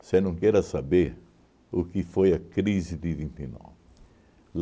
Você não queira saber o que foi a crise de vinte e nove.